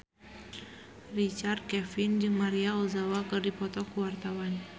Richard Kevin jeung Maria Ozawa keur dipoto ku wartawan